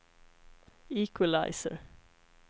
equalizer